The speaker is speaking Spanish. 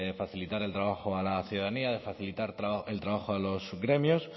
facilitar el trabajo a la ciudadanía de facilitar el trabajo a los gremios